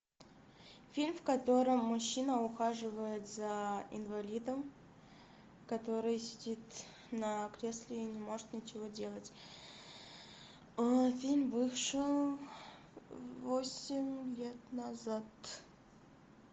фильм в котором мужчина ухаживает за инвалидом который сидит на кресле и не может ничего делать фильм вышел восемь лет назад